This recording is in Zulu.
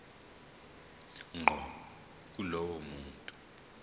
ngqo kulowo muntu